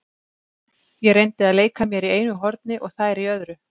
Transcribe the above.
Ég reyndi að leika mér í einu horni og þær í öðru.